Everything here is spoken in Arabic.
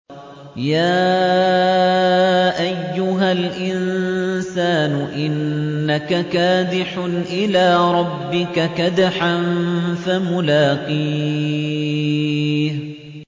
يَا أَيُّهَا الْإِنسَانُ إِنَّكَ كَادِحٌ إِلَىٰ رَبِّكَ كَدْحًا فَمُلَاقِيهِ